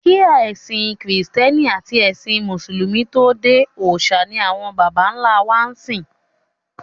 Kí ẹ̀sìn kìrìsìtẹ́nì àti ẹ̀sìn mùsùlùmí tó dé, òòṣà ni àwọn bàbá ńlá wa ń sìn.